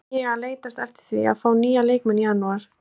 Er ég að leitast eftir því að fá nýja leikmenn í janúar?